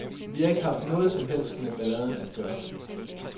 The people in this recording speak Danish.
Vi har ikke haft noget som helst med balladen at gøre.